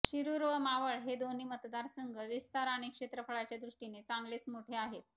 शिरुर व मावळ हे दोन्ही मतदारसंघ विस्तार आणि क्षेत्रफळाच्या दृष्टीने चांगलेच मोठे आहेत